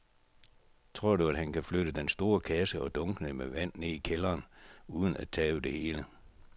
Tror du, at han kan flytte den store kasse og dunkene med vand ned i kælderen uden at tabe det hele?